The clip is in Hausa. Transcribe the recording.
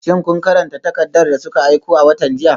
Shin kun karanta takardar da suka aiko a watan jiya?